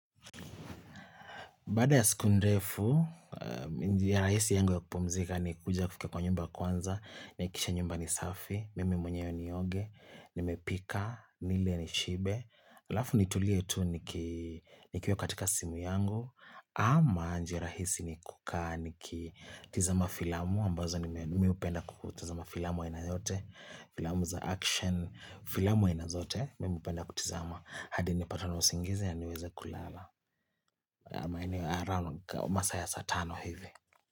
Bada ya siku ndefu, njia rahisi yangu ya kupumzika ni kuja kufika kwa nyumba kwanza, nahakikisha nyumba ni safi, mimi mwenyewe nioge, nimepika, nile nishibe, alafu nitulie tu nikiwa katika simu yangu, ama njia rahisi ni kukaa nikitizama filamu, ambazo mimi hupenda kutizama filamu aina yoyote, filamu za action, filamu ainazote, mimi hupenda kutizama, hadi nipatawe na usingizi na niweze kulala, masaa ya saa tano hivi.